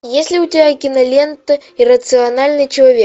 есть ли у тебя кинолента иррациональный человек